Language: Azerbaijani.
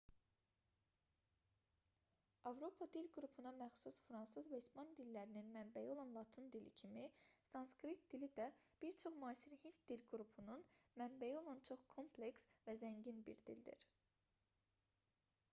avropa dil qrupuna məxsus fransız və ispan dillərinin mənbəyi olan latın dili kimi sanskrit dili də bir çox müasir hind dil qrupunun mənbəyi olan çox kompleks və zəngin bir dildir